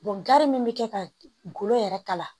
gari min be kɛ ka golo yɛrɛ kala